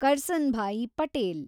Karsanbhai Patel